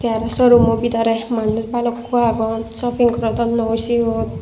the aro showroom o bidire manuj bhalukku agon shopping gorodonnoi siyot.